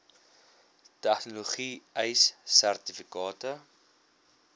tegnologie ace sertifikate